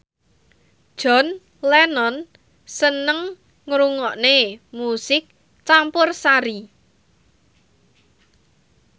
John Lennon seneng ngrungokne musik campursari